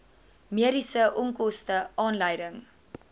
mediese onkoste aanleiding